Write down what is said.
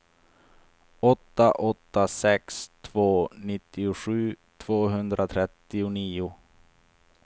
åtta åtta sex två nittiosju tvåhundratrettionio